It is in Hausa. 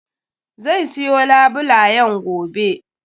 Zai siyo labulen gobe.